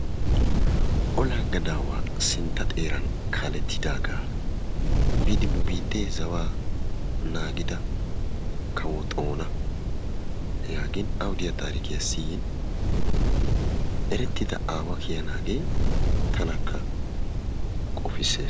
Ollaa gadawa sinttaa xeeran kaalettidaaga, biidi nu biittee zawa naagida kawo Xoona yaagin awu diya taarikkiya siyin eretida aawa kiyanaagee tankka qoppisses.